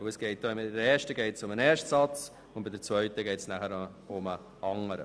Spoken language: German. Bei der ersten geht es um den ersten Satz, bei der zweiten geht es um den anderen.